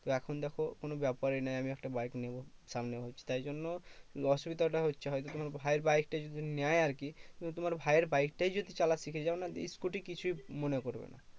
এখন দেখো কোনো ব্যাপারই না আমি একটা বাইক নেবো সামনে মাসে। তাই জন্য অসুবিধাটা হচ্ছে হয়তো। তোমার ভাইয়ের বাইকটা যদি নেয় আরকি, তো তোমার ভাইয়ের বাইকটা যদি চালা শিখে যাও না scooter কিছুই মনে করবে না।